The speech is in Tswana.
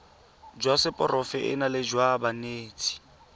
jwa seporofe enale jwa banetshi